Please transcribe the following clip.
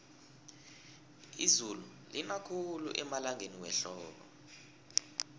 izulu lina khulu emalangeni wehlobo